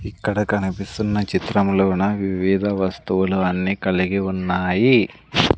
ఇక్కడ కనిపిస్తున్న చిత్రములోన వివిద వస్తువులు అన్నీ కలిగి ఉన్నాయి.